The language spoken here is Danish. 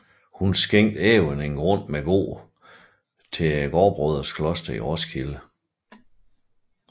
Hun skænke även en grund med gård til gråbrødrenes kloster i Roskilde